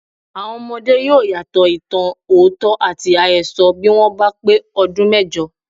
Àwọn ọmọdé yóò̀ ìyàtọ̀ ìtàn òótọ́ àti àhesọ bí wọ́n bá pé ọdún méjọ.